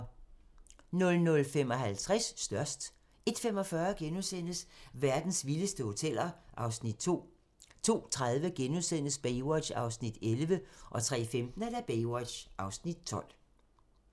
00:55: Størst 01:45: Verdens vildeste hoteller (Afs. 2)* 02:30: Baywatch (11:243)* 03:15: Baywatch (12:243)